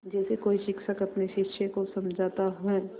जैसे कोई शिक्षक अपने शिष्य को समझाता है